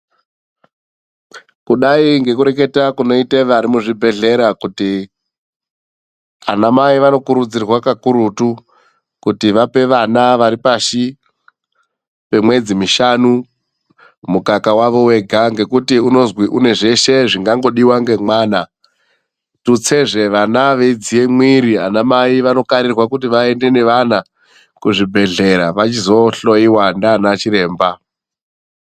Kudai ngekureketa kunoita vari muzvibhehlera kuti anamai vanokurudzirwa kakurutu kuti vape vana vari pashi pemwedzi mishanu mukaka wavo wega. Ngekuti unozwi une zveshe zvingangodiwa ngemwana. Tutsezve vana veyidziya mwiri ,anamai vanokarirwa kuti vaende nevana kuzvibhedhlera vachizohloyiwa nanachiremba.